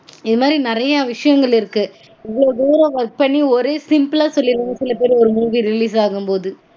இது மாதிரி நெறைய விஷயங்கள் இருக்கு. இவ்ளோ work பண்ணி ஒரு simple -ஆ சொல்லிடறாங்க சில பேர் ஒரு movie release ஆகும்போது